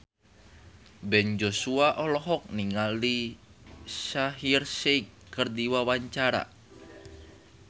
Ben Joshua olohok ningali Shaheer Sheikh keur diwawancara